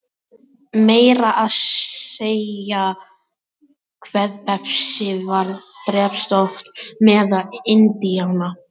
Meira að segja kvefpestin varð drepsótt meðal Indíána.